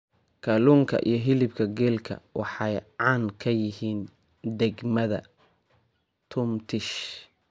Kaluunka iyo hiliibka geelka waxaay caan kayihiin degmadha tumtish.